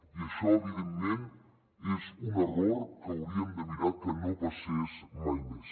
i això evidentment és un error que hauríem de mirar que no passés mai més